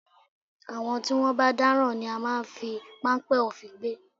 Àwọn tí wọ́n bá dáràn ni a máa ń fi páńpẹ́ òfin gbé